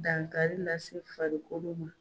Dankari lase farikolo ma